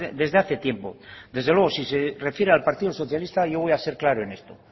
desde hace tiempo desde luego si se refiere al partido socialista yo voy a ser claro en esto